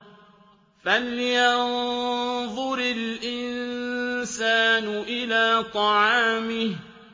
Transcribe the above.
فَلْيَنظُرِ الْإِنسَانُ إِلَىٰ طَعَامِهِ